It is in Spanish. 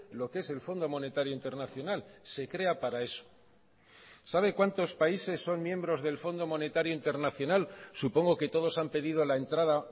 lo que es el fondo monetario internacional se crea para eso sabe cuántos países son miembros del fondo monetario internacional supongo que todos han pedido la entrada